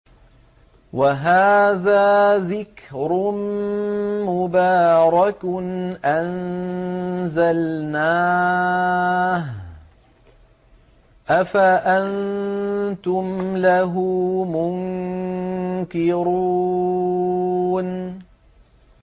وَهَٰذَا ذِكْرٌ مُّبَارَكٌ أَنزَلْنَاهُ ۚ أَفَأَنتُمْ لَهُ مُنكِرُونَ